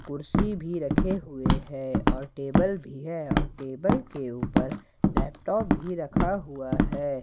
कुर्सी भी रखे हुए हैं और टेबल भी है और टेबल के ऊपर लैपटॉप भी रखा हुआ है।